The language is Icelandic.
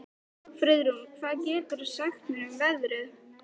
Friðrún, hvað geturðu sagt mér um veðrið?